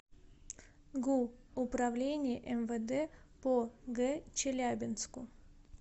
гу управления мвд по г челябинску